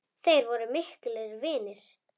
Þeir voru miklir vinir.